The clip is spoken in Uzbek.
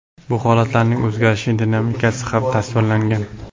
Bu holatlarning o‘zgarish dinamikasi ham tasvirlangan.